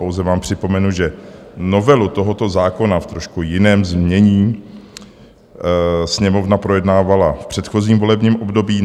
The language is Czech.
Pouze vám připomenu, že novelu tohoto zákona v trošku jiném znění Sněmovna projednávala v předchozím volebním období.